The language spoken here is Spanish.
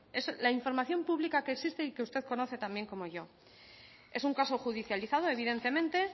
es la información pública que existe y que usted conoce tan bien como yo es un caso judicializado evidentemente